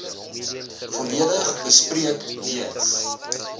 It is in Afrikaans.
volledig bespreek lees